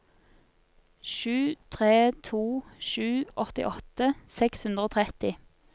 sju tre to sju åttiåtte seks hundre og tretti